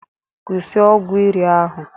Kwụsị ọgwụ iri ahụ!